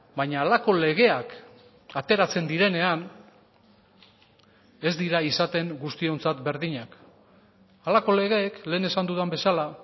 baina halako legeak ateratzen direnean ez dira izaten guztiontzat berdinak halako legeek lehen esan dudan bezala